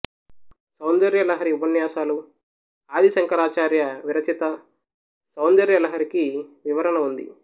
సౌందర్య లహరి ఉపన్యాసాలు ఆదిశంకరాచార్య విరచిత సౌందర్యలహరికి వివరణ ఉంది